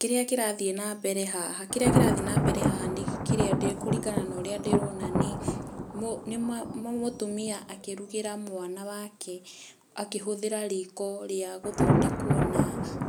Kĩrĩa kĩrathiĩ na mbere haha, kĩrĩa kĩrathiĩ na mbere haha nĩ kĩrĩa, kũringana na ũrĩa ndĩrona nĩ, nĩ mũtumia akĩrugĩra mwana wake akĩhũthĩra riko, rĩa gũthondekwo na,